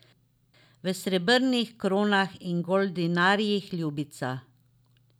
V srebrnih kronah in goldinarjih, ljubica!